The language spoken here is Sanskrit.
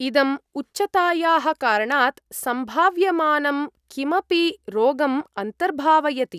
इदम् उच्चतायाः कारणात् सम्भाव्यमानं किमपि रोगम् अन्तर्भावयति।